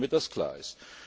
Damit das klar ist.